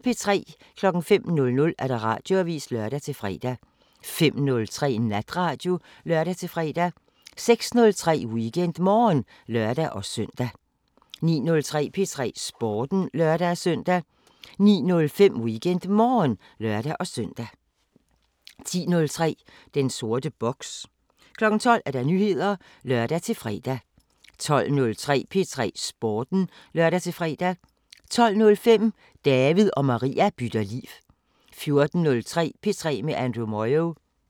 05:00: Radioavisen (lør-fre) 05:03: Natradio (lør-fre) 06:03: WeekendMorgen (lør-søn) 09:03: P3 Sporten (lør-søn) 09:05: WeekendMorgen (lør-søn) 10:03: Den sorte boks 12:00: Nyheder (lør-fre) 12:03: P3 Sporten (lør-fre) 12:05: David og Maria bytter liv 14:03: P3 med Andrew Moyo